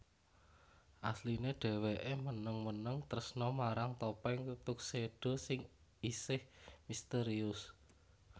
Asline dheweke meneng meneng tresna marang Topeng Tuxedo sing isih misterius